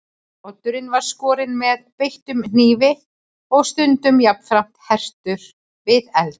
Oddurinn var skorinn með beittum knífi og stundum jafnframt hertur við eld.